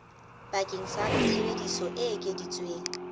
bakeng sa tsebiso e ekeditsweng